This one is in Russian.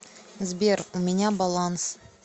сбер у меня баланс